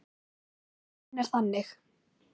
Listinn er þannig